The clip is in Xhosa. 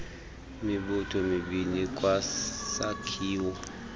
mibutho mibini ikwisakhiwo